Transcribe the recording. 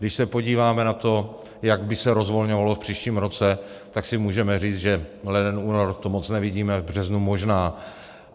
Když se podíváme na to, jak by se rozvolňovalo v příštím roce, tak si můžeme říct, že leden, únor to moc nevidíme, v březnu možná.